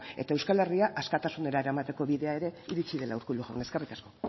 eta euskal herria askatasunera eramateko bidea ere iritsi dela urkullu jauna eskerrik asko